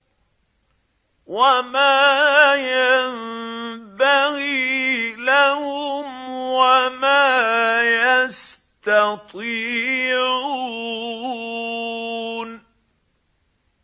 وَمَا يَنبَغِي لَهُمْ وَمَا يَسْتَطِيعُونَ